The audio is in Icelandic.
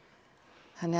þannig